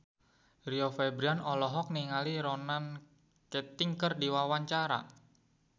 Rio Febrian olohok ningali Ronan Keating keur diwawancara